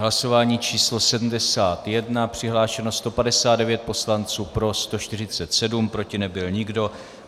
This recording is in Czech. Hlasování číslo 71, přihlášeno 159 poslanců, pro 147, proti nebyl nikdo.